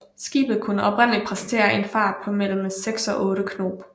Skibet kunne oprindeligt præstere en fart på mellem 6 og 8 knob